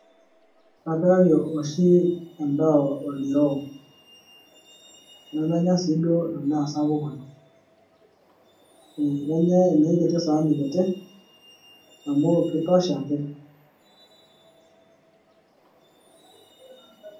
Kapikaki oshi endaa oldiroo, nemenya sii duo edaa SAPUK oleng', Kenyaa enoshi saani kitie amu keitosha ake.